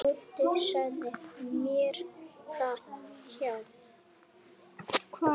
Gutti sagði mér það, já.